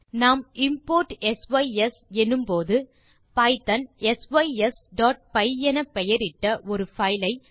நாம் import sys என்னும் போது பைத்தோன் sysபை என பெயரிட்ட ஒரு பைல் ஐ